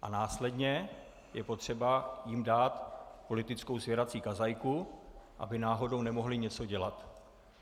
A následně je potřeba jim dát politickou svěrací kazajku, aby náhodou nemohli něco dělat.